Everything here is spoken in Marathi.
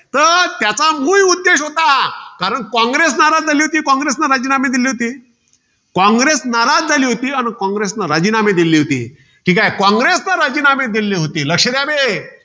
तर त्याच्या मुळ उद्देश होता. कारण कॉंग्रेस नाराज झाली होती. कॉंग्रेसने राजीनामे दिले होते. कॉंग्रेस नाराज झाली होती अन कॉंग्रेस ने राजीनामे दिले होते. कॉंग्रेसने राजीनामे दिले होते. लक्ष द्या बे.